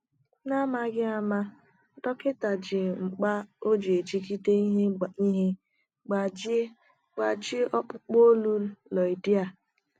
N’amaghị ama, dọkịta ji mkpà o ji ejide ihe gbajie gbajie ọkpụkpụ olu Loida.